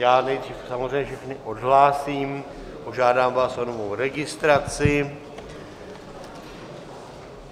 Já nejdřív samozřejmě všechny odhlásím, požádám vás o novou registraci.